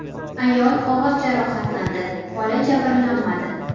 Ayol og‘ir jarohatlandi, bola jabrlanmadi.